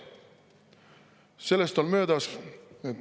Sellest on möödas ...